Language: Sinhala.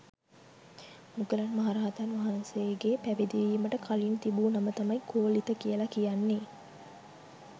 මුගලන් මහ රහතන් වහන්සේගේ පැවිදි වීමට කලින් තිබූ නම තමයි කෝලිත කියලා කියන්නේ.